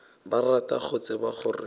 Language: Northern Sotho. ba rata go tseba gore